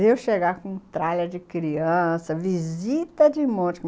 E eu chegava com um tralha de criança, visita de monte.